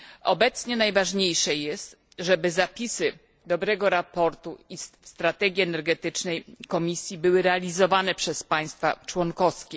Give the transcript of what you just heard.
Obecnie najważniejsze jest, żeby zapisy dobrego sprawozdania i strategii energetycznej Komisji były realizowane przez państwa członkowskie.